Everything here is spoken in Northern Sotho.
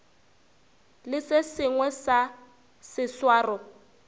le se sengwe sa seswaro